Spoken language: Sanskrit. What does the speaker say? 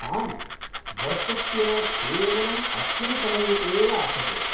आम्, वर्षस्य केवलम् अस्मिन् समये एव आचर्यते।